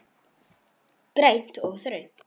Grænt og þröngt.